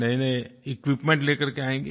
नएनए इक्विपमेंट लेकर कर के आएँ